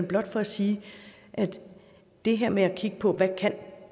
blot for at sige at det her med at kigge på hvad